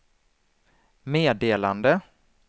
meddelande